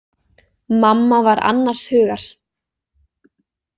Mamma var annars hugar.